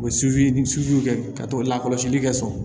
O kɛ ka t'o la kɔlɔsili kɛ so